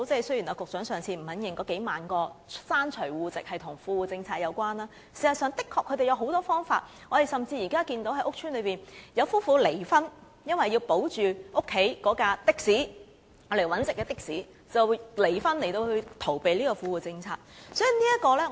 雖然局長不願意承認那數萬個刪除戶籍的個案與富戶政策有關，但事實上，他們是有許多方法的，我們現在甚至看到有居於屋邨的夫婦離婚，因為要保住家中用來謀生的的士，於是離婚來規避富戶政策。